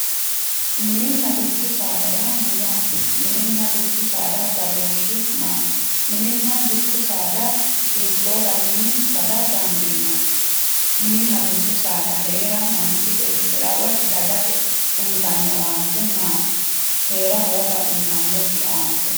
mininna dubbu saada yaa mayyaate? mininna dubbu saada badooshshi maati? mininna dubbu saada hiittoo garinni bada dandiinanni mininna dubbu saada heera uyitanno owaante maati? heera hooga uyitannokkiri no?